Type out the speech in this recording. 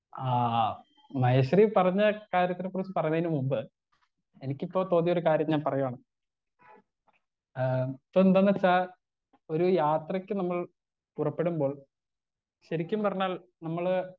Speaker 1 ആ മഹേശ്വരി പറഞ്ഞ കാര്യത്തിനെ കുറിച്ച് പറഞ്ഞേന് മുമ്പ് എനിക്കിപ്പോ തോന്നിയ ഒരു കാര്യം ഞാൻ പറയാണ് ഏ ഇപ്പെന്തെന്നെച്ചാൽ ഒരു യാത്രയ്ക്ക് നമ്മൾ പുറപ്പെടുമ്പോൾ ശരിക്കും പറഞ്ഞാൽ നമ്മള്.